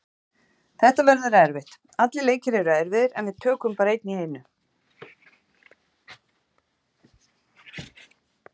Þetta verður erfitt, allir leikir eru erfiðir en við tökum bara einn í einu.